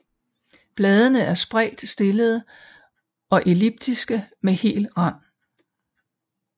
Bladene er spredt stillede og elliptiske med hel rand